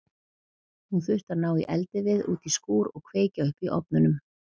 Hún þurfti að ná í eldivið út í skúr og kveikja upp í ofnunum.